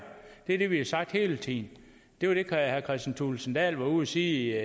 det er det vi har sagt hele tiden det var det herre kristian thulesen dahl var ude at sige